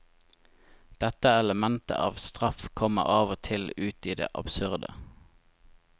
Dette elementet av straff kommer av og til ut i det absurde.